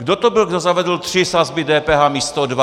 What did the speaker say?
Kdo to byl, kdo zavedl tři sazby DPH místo dvou?